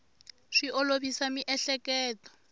swi olovisa miehleketo